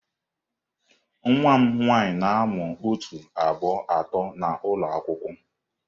Nwa m nwanyị na-amụ otu, abụọ, atọ n'ụlọ akwụkwọ.